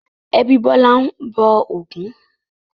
Ẹbí Bọ́lá ń bọ Ògún.